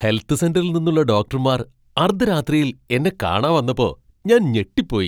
Health സെന്ററിൽ നിന്നുള്ള ഡോക്ടർമാർ അർദ്ധരാത്രിയിൽ എന്നെ കാണാൻ വന്നപ്പോ ഞാൻ ഞെട്ടിപ്പോയി.